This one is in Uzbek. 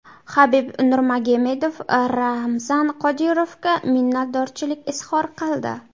Habib Nurmagomedov Ramzan Qodirovga minnatdorchilik izhor qildi.